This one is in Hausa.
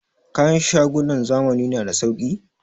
Kayan shagunan zamani na da sauki?